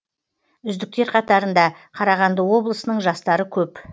үздіктер қатарында қарағанды облысының жастары көп